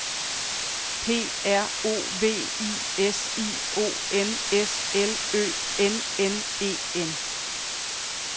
P R O V I S I O N S L Ø N N E N